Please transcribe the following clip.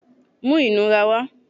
mú inurá wá!